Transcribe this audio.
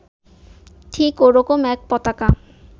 ঠিক ওরকম এক পতাকা